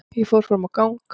Ég fór fram á gang.